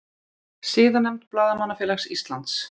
Siðanefnd Blaðamannafélags Íslands